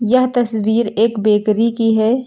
यह तस्वीर एक बेकरी की है।